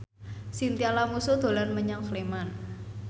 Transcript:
Chintya Lamusu dolan menyang Sleman